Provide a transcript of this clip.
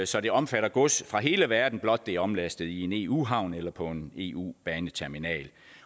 så det omfatter gods fra hele verden blot det er omlastet i en eu havn eller på en eu baneterminal